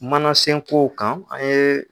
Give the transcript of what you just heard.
Mana sen kow kan e e